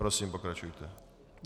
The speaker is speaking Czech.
Prosím, pokračujte.